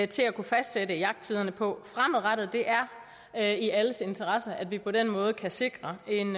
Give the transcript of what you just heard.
til at kunne fastsætte jagttiderne på fremadrettet det er i alles interesse at vi på den måde kan sikre en